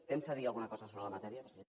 pensa dir alguna cosa sobre la matèria president